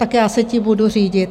Tak já se tím budu řídit.